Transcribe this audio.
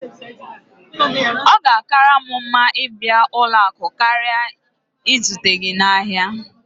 Ọ ga-akara m mma ịbịa ụlọ akụ karịa izute gị n'ahịa